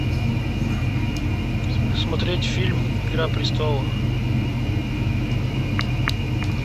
смотреть фильм игра престолов